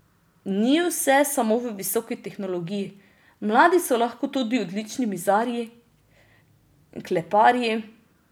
Ni vse samo v visoki tehnologiji, mladi so lahko tudi odlični mizarji, kleparji...